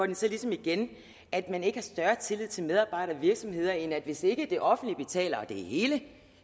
det så ligesom igen at man ikke har større tillid til medarbejdere og virksomheder end at hvis ikke det offentlige betaler det hele